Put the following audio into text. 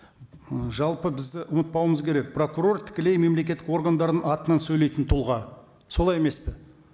ы жалпы біз ұмытпауымыз керек прокурор тікелей мемлекеттік органдардың атынан сөйлейтін тұлға солай емес пе